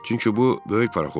Çünki bu böyük parxoddur.